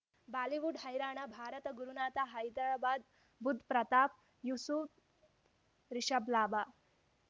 Bollywood ಹೈರಾಣ ಭಾರತ ಗುರುನಾಥ ಹೈದರಾಬಾದ್ ಬುಧ್ ಪ್ರತಾಪ್ ಯೂಸುಫ್ ರಿಷಬ್ ಲಾಭ